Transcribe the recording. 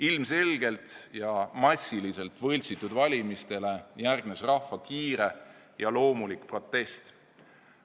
Ilmselgelt ja massiliselt võltsitud valimistele järgnes rahva kiire ja loomulik protest.